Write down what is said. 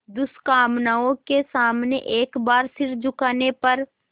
दुष्कामनाओं के सामने एक बार सिर झुकाने पर